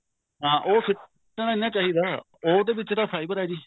ਹਾਂ ਉਹ ਸਿਟਨਾ ਨਹੀਂ ਚਾਹਿਦਾ ਉਹਦੇ ਵਿੱਚ ਤਾਂ fiber ਹੈ ਜੀ